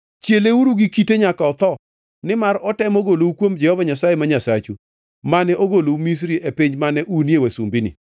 Chieleuru gi kite nyaka otho, nimar otemo golou kuom Jehova Nyasaye ma Nyasachu, mane ogolou Misri e piny mane unie wasumbini.